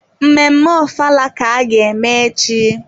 Mmemme ofala ka ga-eme echi?